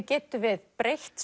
getum við breytt